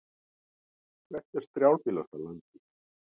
Hvert er strjálbýlasta land í heimi?